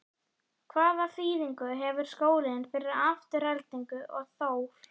Hvaða þýðingu hefur skólinn fyrir Aftureldingu og Þór?